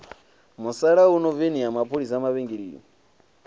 musalauno veni ya mapholisa mavhengele